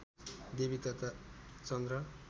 देवी तथा चन्द्र